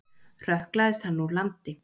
Hrökklaðist hann úr landi.